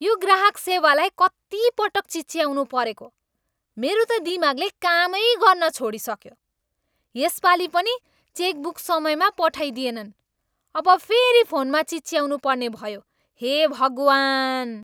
यो ग्राहक सेवालाई कति पटक चिच्याउनु परेको। मेरो त दिमागले कामै गर्न छोडिसक्यो। यसपालि पनि चेकबुक समयमा पठाइदिएनन्। अब फेरि फोनमा चिच्याउनुपर्ने भयो। हे भगवान्!